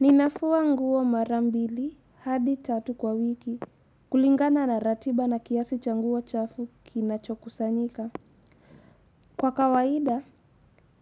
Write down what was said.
Ninafua nguo mara mbili hadi tatu kwa wiki, kulingana na ratiba na kiasi cha nguo chafu kinacho kusanyika. Kwa kawaida,